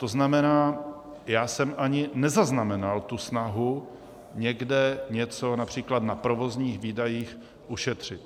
To znamená, já jsem ani nezaznamenal tu snahu někde něco, například na provozních výdajích, ušetřit.